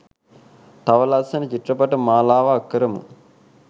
තව ලස්සන චිත්‍රපට මාලාවක් කරමු